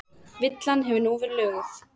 Villan hefur nú verið löguð